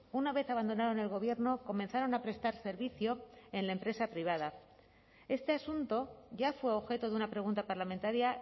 una vez abandonaron el gobierno comenzaron a prestar servicio en la empresa privada este asunto ya fue objeto de una pregunta parlamentaria